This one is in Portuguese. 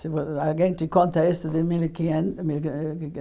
Se alguém te conta isso de mil e quinhen mil e quinhe mil e quinhe